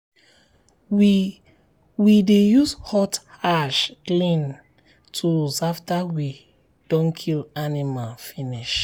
um we um we dey use hot ash clean um tools after we don kill animal finish.